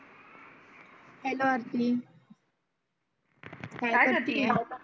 hello Aarti काय करते